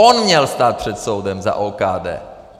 On měl stát před soudem za OKD!